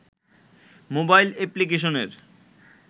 mobile অ্যাপ্লিকেশনের